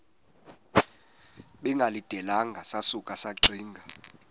bengalindelanga sasuka saxinga